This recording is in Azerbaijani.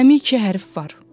Cəmi iki hərf var.